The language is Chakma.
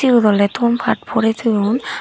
siyot oly ton pat boretoyon.